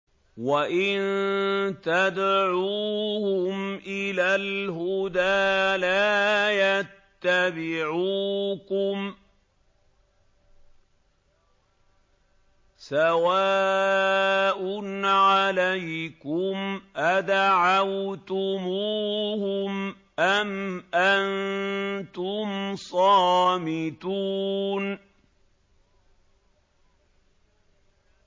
وَإِن تَدْعُوهُمْ إِلَى الْهُدَىٰ لَا يَتَّبِعُوكُمْ ۚ سَوَاءٌ عَلَيْكُمْ أَدَعَوْتُمُوهُمْ أَمْ أَنتُمْ صَامِتُونَ